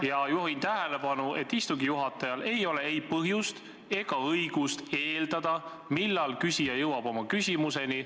Ja juhin tähelepanu, et istungi juhatajal ei ole ei põhjust ega õigust eeldada, millal küsija jõuab oma küsimuseni.